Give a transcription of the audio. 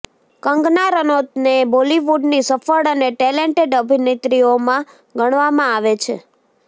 કંગના રનૌતને બોલિવુડની સફળ અને ટેલેન્ટેડ અભિનેત્રીઓમાં ગણવામાં આવે છે